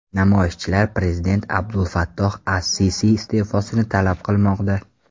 Namoyishchilar prezident Abdulfattoh as-Sisi iste’fosini talab qilmoqda.